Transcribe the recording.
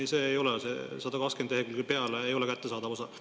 Ei, see ei ole, see 120 lehekülje ei ole kättesaadav osa.